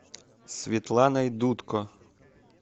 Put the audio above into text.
светланой дудко